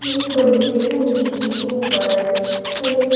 एक बड़ी सी टंकी कि ऊपर हमें।